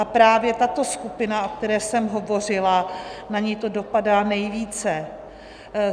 A právě tato skupina, o které jsem hovořila, na ni to dopadá nejvíce.